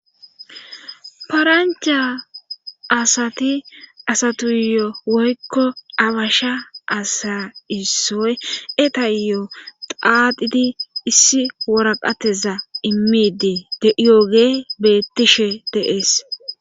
parancha asati asatuyo woykko abasha asa issoy etayyo xaadidi issi woraqateza immiidi de yooge beettishe deees